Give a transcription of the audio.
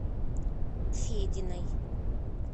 фединой